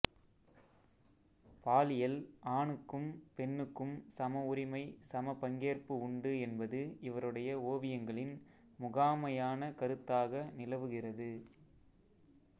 பாலியலில் ஆணுக்கும் பெண்ணுக்கும் சம உரிமை சம பங்கேற்பு உண்டு என்பது இவருடைய ஓவியங்களின் முகாமையான கருத்தாக நிலவுகிறது